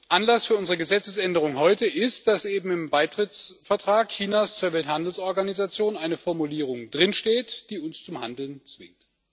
Anlass für unsere Gesetzesänderung heute ist, dass eben im Beitrittsvertrag Chinas zur Welthandelsorganisation eine Formulierung steht, die uns zum Handeln zwingt.